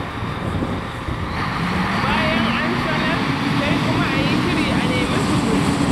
Bayan an sanar, sai kuma a yi shiri a nemi guzuri.